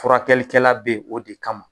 Furakɛlikɛla be ye o de kama